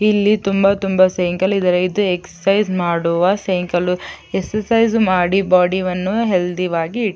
ಇಲ್ಲಿ ತುಂಬಾ ತುಂಬಾ ಸೈಕಲ್ ಇದಾರೆ ಇದು ಎಕ್ಸರ್ಸೈಜ್ ಮಾಡುವ ಸೈಕಲು ಎಕ್ಸರ್ಸೈಜ್ ಮಾಡಿ ಬೋಡಿವನ್ನು ಹೆಲ್ದಿವಾಗಿ ಇಟ್ಟಿ--